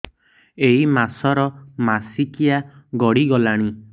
ଏଇ ମାସ ର ମାସିକିଆ ଗଡି ଗଲାଣି